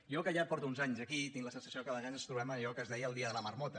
jo que ja porto uns anys aquí tinc la sensació que a vegades ens trobem en allò que es deia el dia de la marmota